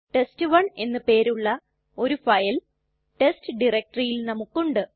test one എന്ന് പേരുള്ള ഒരു ഫയൽ ടെസ്റ്റ് ഡയറക്ടറിയിൽ നമുക്കുണ്ട്